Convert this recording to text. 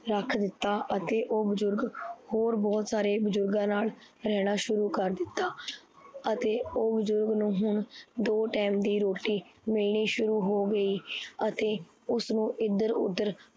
ਰੱਖ ਦਿੱਤਾ, ਅਤੇ ਓਹ ਬੁਜਰਗ ਹੋਰ ਬਹੁਤ ਸਾਰੇ ਬੁਜਰਗਾ ਨਾਲ ਰਹਣਾ ਸ਼ੁਰੂ ਕਰ ਦਿੱਤਾ ਅਤੇ ਓਹ ਬੁਜਰਗ ਨੂੰ ਹੁਣ ਦੋ ਟੈਮ ਦੀ ਰੋਟੀ ਮਿਲਣੀ ਸ਼ੁਰੂ ਹੋ ਗਈ। ਅਤੇ ਉਸਨੂੰ ਇੱਧਰ ਉਧਰ